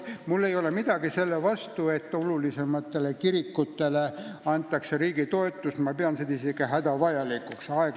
Mul ei ole midagi selle vastu, et olulisematele kirikutele annab riik toetust, ma pean seda isegi hädavajalikuks.